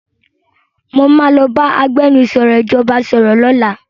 Mo máa lọ bá agbẹnusọ ìjọba sọ̀rọ̀ lọ́làá.